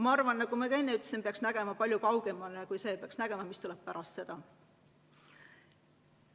Ma arvan, nagu ma ka enne ütlesin, et peaks nägema palju kaugemale, peaks nägema, mis tuleb pärast seda aastat.